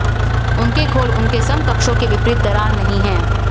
उनके खोल उनके बड़े समकक्षों के विपरीत दरार नहीं है